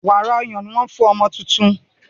wàrà ọyàn ní wón fún ọmọ títún.